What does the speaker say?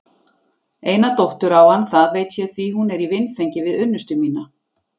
Eina dóttur á hann það ég veit því hún er í vinfengi við unnustu mína.